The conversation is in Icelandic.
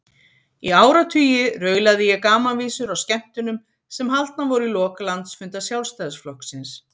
Í áratugi raulaði ég gamanvísur á skemmtunum sem haldnar voru í lok landsfunda Sjálfstæðisflokksins.